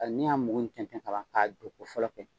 n'i y'a mugu tɛntɛn ka ban k'a don ko fɔlɔ kɛ